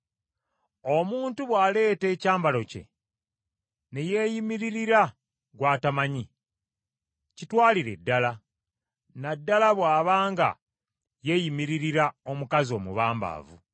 Omuntu bw’aleeta ekyambalo kye ne yeeyimiririra gw’atamanyi, kitwalire ddala, na ddala bw’abanga yeeyimiririra omukazi omubambaavu.